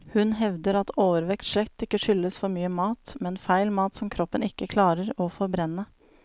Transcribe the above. Hun hevder at overvekt slett ikke skyldes for mye mat, men feil mat som kroppen ikke klarer å forbrenne.